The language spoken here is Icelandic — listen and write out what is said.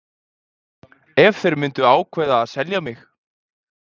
Ef þeir myndu ákveða að selja mig?